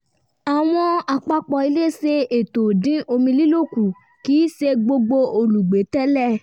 àwọn àpapọ̀ ilé ṣe ètò dín omi lílò kù kì í ṣe gbogbo olùgbé tẹ̀lé